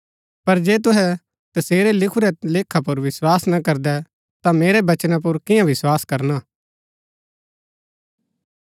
पर जे तूहै तसेरै लिखूरै लेखा पुर विस्वास ना करदै ता मेरै बचना पुर कियां विस्वास करना